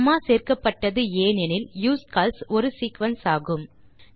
gamma சேர்க்கப்பட்டது ஏன் எனில் யூஸ்கால்ஸ் ஒரு சீக்வென்ஸ் ஆகும்